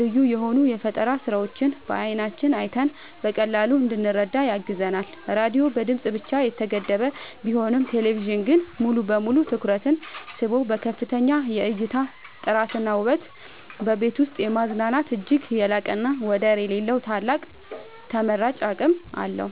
ልዩ የሆኑ የፈጠራ ስራዎችን በዓይናችን አይተን በቀላሉ እንድንረዳ ያግዘናል። ራዲዮ በድምጽ ብቻ የተገደበ ቢሆንም ቴሌቪዥን ግን ሙሉ በሙሉ ትኩረትን ስቦ በከፍተኛ የእይታ ጥራትና ውበት በቤት ውስጥ የማዝናናት እጅግ የላቀና ወደር የሌለው ታላቅ ተመራጭ አቅም አለው።